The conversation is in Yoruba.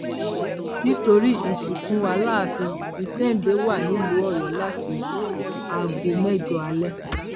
nítorí ìsìnkú aláàfin ìséde wà nílùú ọyọ láti aago mẹjọ alẹ